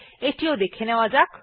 এটিও দেখে নেওয়া যাক